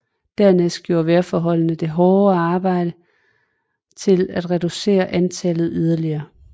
Dernæst gjorde vejrforholdene og det hårde arbejde deres til at reducere antallet yderligere